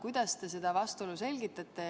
Kuidas te seda vastuolu selgitate?